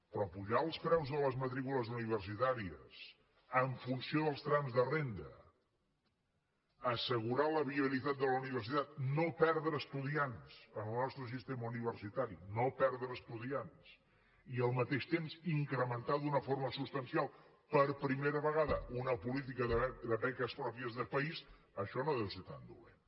però apujar els preus de les matrícules universitàries en funció dels trams de renda assegurar la viabilitat de la universitat no perdre estudiants en el nostre sistema universitari no perdre estudiants i al mateix temps incrementar d’una forma substancial per primera vegada una política de beques pròpies de país això no deu ser tan dolent